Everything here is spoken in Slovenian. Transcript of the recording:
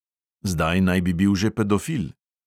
Zdaj naj bi bil že pedofil.